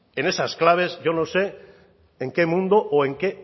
en esas claves yo no sé en qué mundo o en qué